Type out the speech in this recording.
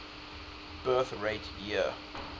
birth rate year